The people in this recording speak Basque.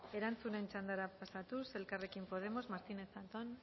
erantzunen txandara pasatuz elkarrekin podemos martínez zatón